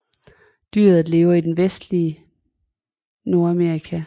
Dyret lever i det vestlige Nordamerika